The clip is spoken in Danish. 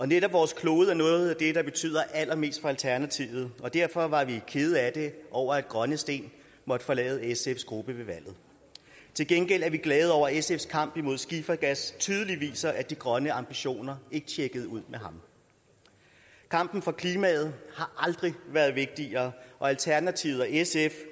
netop vores klode er noget af det der betyder allermest for alternativet og derfor var vi kede af det over at grønne steen måtte forlade sfs gruppe ved valget til gengæld er vi glade over at sf’s kamp imod skifergas tydeligt viser at de grønne ambitioner ikke tjekkede ud med ham kampen for klimaet har aldrig været vigtigere og alternativet og sf